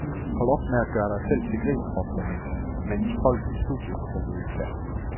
Hold op med at gøre dig selv til grin, råbte han, mens folk i studiet krummede tæer.